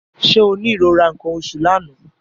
Ṣé o ní ìrora nǹkan oṣù l'àná?